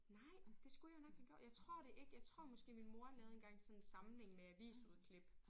Nej det skulle jeg nok have gjort jeg tror det ikke. Jeg tror måske min mor lavede engang sådan en samling med avisudklip